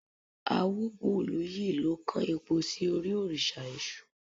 Awóbùlúyì lọ kan epo sí orí òrìṣà èṣù